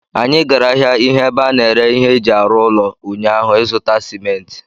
Anyị gara ahịa ihe ebe a na-ere ihe eji arụ ụlọ ụnyaahụ ịzụta simenti